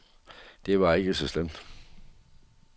Det var ikke så slemt.